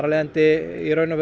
leiðandi